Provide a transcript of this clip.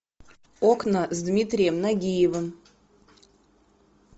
окна с дмитрием нагиевым